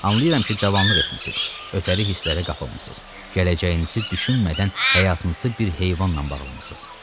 Amma anlayıram ki, cavanlıq etmisiz, ötəri hisslərə qapılmısız, gələcəyinizi düşünmədən həyatınızı bir heyvanla bağlamısız.